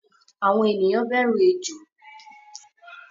Àwọn ènìyàn bẹru Ejò